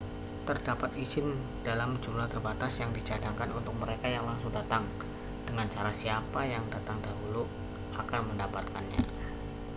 terdapat izin dalam jumlah terbatas yang dicadangkan untuk mereka yang langsung datang dengan cara siapa yang datang dahulu akan mendapatkannya